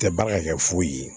Tɛ baara kɛ foyi ye